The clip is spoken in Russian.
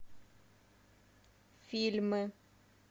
фильмы